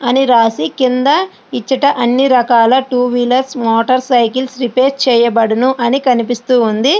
అని రాసి కింద ఇచ్చట అన్ని రకాల two wheelers motorcycles repair చేయబడును అని కనిపిస్తూ ఉంది.